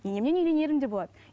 енемнен үйренерім де болады